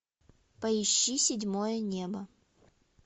поищи седьмое небо